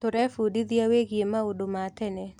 Tũrebundithia wĩgiĩ maũndũ ma tene.